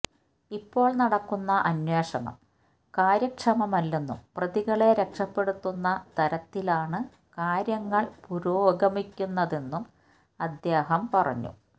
ഇപ്പോള് നടക്കുന്ന അന്വേഷണം കാര്യക്ഷമമല്ലെന്നും പ്രതികളെ രക്ഷപ്പെടുത്തുന്ന തരത്തിലാണ് കാര്യങ്ങള് പുരോഗമിക്കുന്നതെന്നും അദ്ദേഹം പറഞ്ഞു